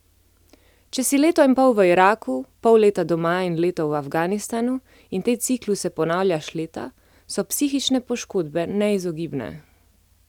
Če si leto in pol v Iraku, pol leta doma in leto v Afganistanu in te cikluse ponavljaš leta, so psihične poškodbe neizogibne.